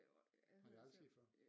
Nej det er aldrig sket før